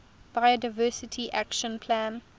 biodiversity action plan